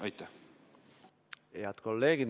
Head kolleegid!